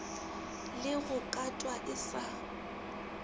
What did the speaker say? le go katwa e sa